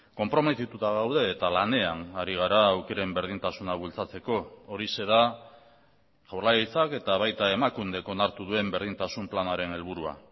konprometituta daude eta lanean ari gara aukeren berdintasuna bultzatzeko horixe da jaurlaritzak eta baita emakundek onartu duen berdintasun planaren helburua